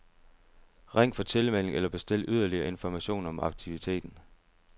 Ring for tilmelding eller bestil yderligere information om aktiviteten.